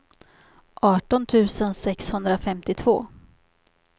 arton tusen sexhundrafemtiotvå